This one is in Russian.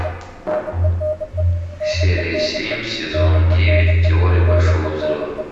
серия семь сезон девять теория большого взрыва